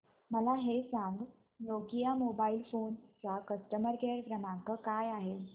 मला हे सांग नोकिया मोबाईल फोन्स चा कस्टमर केअर क्रमांक काय आहे